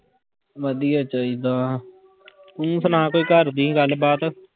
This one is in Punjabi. ਵਧੀਆ ਚਾਹੀਦਾ ਤੂੰ ਸੁਣਾ ਕੋਈ ਘਰਦੀ ਗੱਲਬਾਤ।